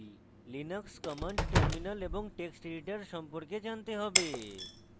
linux commands terminal এবং text editor ব্যবহার সম্পর্কে জানতে have